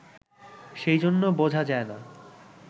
সেইজন্য বোঝা যায় না